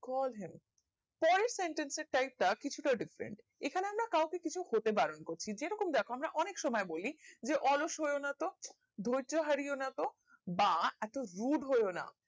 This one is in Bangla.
call him পারে sentence টা style টা কিছু তা different এখানে আমরা কাও কে কিছু হতে বারণ করছি যে রকম দ্যাখো আমরা অনেক সময় বলি যে অলস হয়ো না তো ধর্য হারিয়ো না তো বা এতো rude হয়না